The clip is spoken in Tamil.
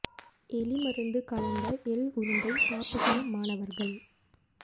எலிமருந்து கலந்த எள் உருண்டை சாப்பிட்ட மாணவர்கள்